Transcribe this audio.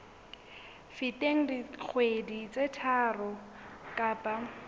feteng dikgwedi tse tharo kapa